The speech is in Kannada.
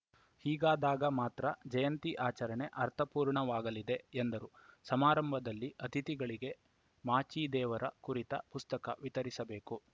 ಹೀಗಾದಾಗ ಮಾತ್ರ ಜಯಂತಿ ಆಚರಣೆ ಅರ್ಥಪೂರ್ಣವಾಗಲಿದೆ ಎಂದರು ಸಮಾರಂಭದಲ್ಲಿ ಅತಿಥಿಗಳಿಗೆ ಮಾಚಿದೇವರ ಕುರಿತ ಪುಸ್ತಕ ವಿತರಿಸಬೇಕು